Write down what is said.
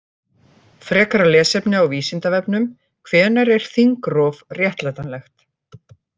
Frekara lesefni á Vísindavefnum: Hvenær er þingrof réttlætanlegt?